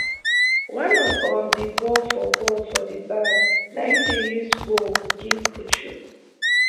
one of um di ball for ball for di bag na im dem use bowl give puchu